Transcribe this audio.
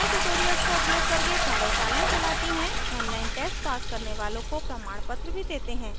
spoken tutorials का उपयोग करके कार्यशालाएँ चलती है online test pass करने वालों को प्रमाणपत्र भी देते हैं